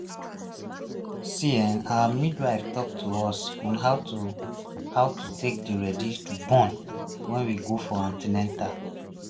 you see[um]our midwife ehm talk to us about to take dey ready to born wen we go for an ten atal